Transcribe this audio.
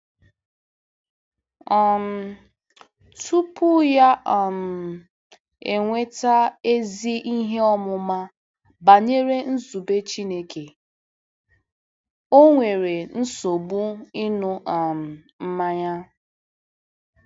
um Tupu ya um enweta ezi ihe ọmụma banyere nzube Chineke, o nwere nsogbu ịṅụ um mmanya.